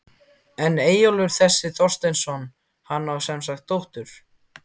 En Eyjólfur þessi Þorsteinsson, hann á semsagt dóttur